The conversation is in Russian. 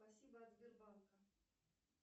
спасибо от сбербанка